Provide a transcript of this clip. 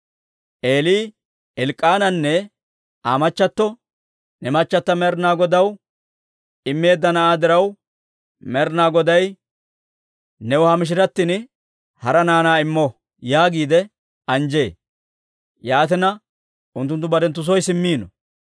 Eeli Elk'k'aananne Aa machchato, «Ne machata Med'inaa Godaw immeedda na'aa diraw Med'inaa Goday new ha mishiratin hara naanaa immo» yaagiide anjjee; yaatina, unttunttu barenttu soy simmiino.